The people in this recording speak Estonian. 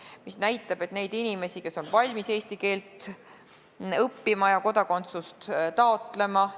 See näitab, et neid inimesi on palju, kes on valmis eesti keelt õppima ja kodakondsust taotlema.